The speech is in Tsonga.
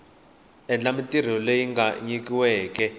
endla mintirho leyi a nyikiweke